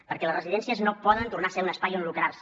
perquè les residències no poden tornar a ser un espai on lucrar se